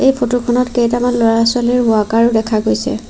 Photo খনত কেইটামান ল'ৰা ছোৱালীৰ ৱাকাৰ ও দেখা গৈছে।